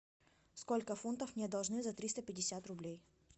сколько фунтов мне должны за триста пятьдесят рублей